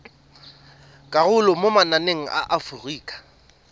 karolo mo mananeng a aforika